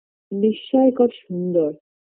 বিষ্ময়কর সুন্দর